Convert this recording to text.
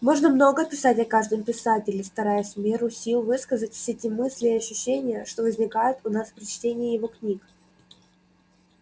можно много писать о каждом писателе стараясь в меру сил высказать все те мысли и ощущения что возникают у нас при чтении его книг